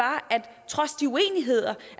trods de uenigheder